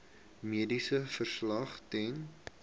mediese verslag ten